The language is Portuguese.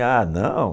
Ah, não?